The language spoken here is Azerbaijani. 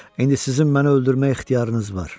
İndi sizin məni öldürməyə ixtiyarınız var.